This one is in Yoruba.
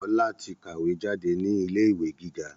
Ọlá tí kàwé jáde ní ilé ìwé gíga